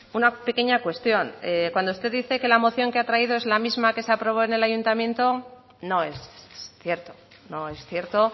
una pequeña cuestión cuando usted dice que la moción que ha traído es la misma que se aprobó en el ayuntamiento no es cierto no es cierto